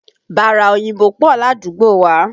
Bàrà òyìnbó pọ̀ ládùúgbò wá.